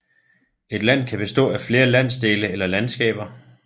Et land kan bestå af flere landsdele eller landskaber